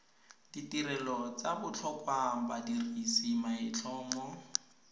ditirelo tsa botlhokwa badirisi maitlhomo